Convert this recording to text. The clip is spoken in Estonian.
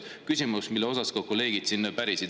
Küsimus, mille kohta ka kolleegid siin pärisid.